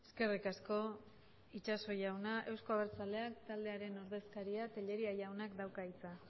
eskerrik asko itxaso jauna eusko abertzaleak taldearen ordezkaria tellería jaunak dauka hitza